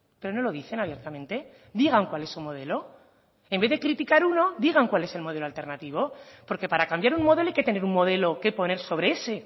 pero no lo dicen abiertamente digan cuál es su modelo en vez de criticar uno digan cuál es el modelo alternativo porque para cambiar un modelo hay que tener un modelo que poner sobre ese